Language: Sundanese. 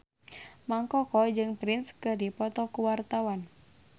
Mang Koko jeung Prince keur dipoto ku wartawan